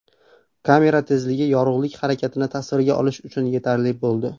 Kamera tezligi yorug‘lik harakatini tasvirga olish uchun yetarli bo‘ldi.